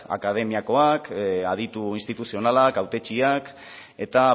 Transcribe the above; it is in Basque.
akademiakoak aditu instituzionalak hautetsiak eta